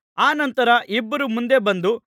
ಅನಂತರ ಇಬ್ಬರು ಮುಂದೆ ಬಂದು